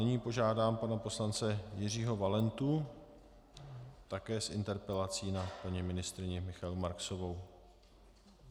Nyní požádám pana poslance Jiřího Valentu také s interpelací na paní ministryni Michaelu Marksovou.